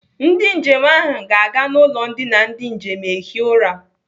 Ndị njem ahụ ga-aga n'ụlọ ndina ndị njem ehi ụra.